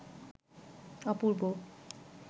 অপূর্ব